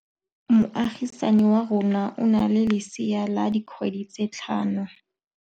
Moagisane wa rona o na le lesea la dikgwedi tse tlhano.